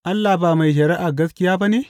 Allah ba mai shari’ar gaskiya ba ne?